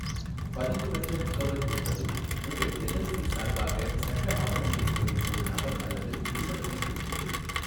பதிவுபெற்ற முகவர் என்பது உங்கள் எல்எல்சி சார்பாக சட்ட ஆவணங்களைப் பெறும் ஒரு நபர் அல்லது நிறுவனத்தைக் குறிக்கிறது.